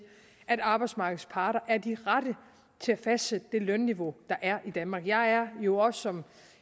at arbejdsmarkedets parter er de rette til at fastsætte det lønniveau der er i danmark jeg er jo også som